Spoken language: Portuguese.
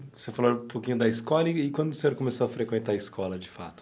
Você falou um pouquinho da escola e quando o senhor começou a frequentar a escola, de fato?